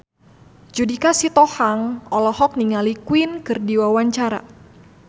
Judika Sitohang olohok ningali Queen keur diwawancara